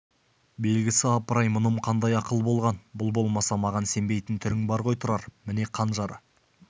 белгісі апыр-ай мұным қандай ақыл болған бұл болмаса маған сенбейтін түрің бар ғой тұрар міне қанжары